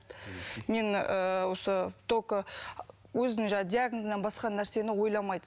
мен ыыы осы только өзінің жаңағы диагнозынан басқа нәрсені ойламайды